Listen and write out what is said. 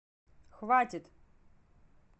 хватит